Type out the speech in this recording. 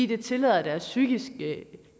det tillader deres psykiske